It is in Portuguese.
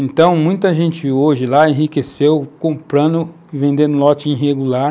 Então, muita gente hoje lá enriqueceu comprando e vendendo lote irregular,